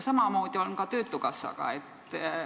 Samamoodi on ka töötukassaga.